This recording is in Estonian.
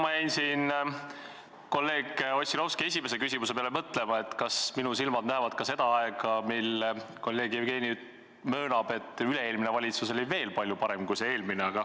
Ma jäin siin kolleeg Ossinovski esimese küsimuse peale mõtlema, kas minu silmad näevad ka seda aega, mil kolleeg Jevgeni möönab, et üle-eelmine valitsus oli veel palju parem kui see eelmine.